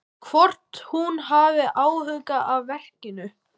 Hvort hún hafi áhuga á verkinu.